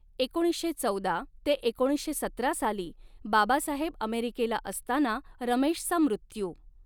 एकोणीसशे चौदा ते एकोणीसशे सतरा साली बाबासाहेब अमेरिकेला असताना रमेशचा मृत्यू.